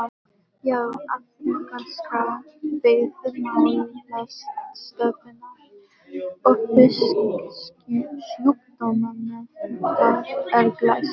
Já, afrekaskrá Veiðimálastofnunar og Fisksjúkdómanefndar er glæsileg.